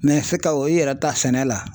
se ka o yɛrɛ ta sɛnɛ la.